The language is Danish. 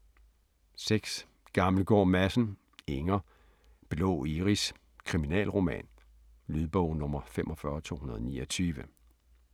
6. Gammelgaard Madsen, Inger: Blå iris: kriminalroman Lydbog 45229